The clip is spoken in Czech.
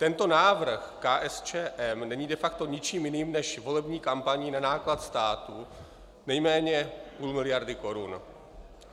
Tento návrh KSČM není de facto ničím jiným než volební kampaní na náklad státu nejméně půl miliardy korun.